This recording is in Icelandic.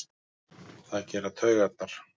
Það gera taugarnar.